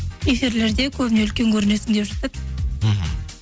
эфирлерде көбіне үлкен көрінесің деп жатады мхм